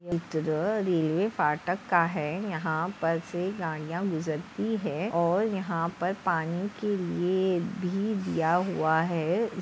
चित्र रेल्वे फाटक का है यह पर से गाडियाँ गुजरती हैऔर यह पर पानी के लिए भी दिया हुआ है।